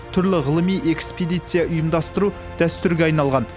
түрлі ғылыми экспедиция ұйымдастыру дәстүрге айналған